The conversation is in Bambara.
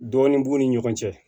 Dɔɔnin b'u ni ɲɔgɔn cɛ